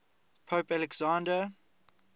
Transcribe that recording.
pope alexander